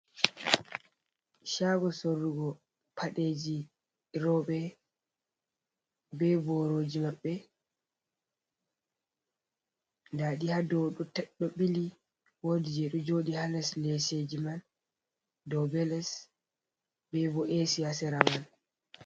Shago sorrugo padeji robe. Be boroji mabbe. Ɗadi ha ɗow ɗiɗo bili. woɗi je ɗo joɗi ha les leseji man. Ɗow be les. Bebo esi ha sera man.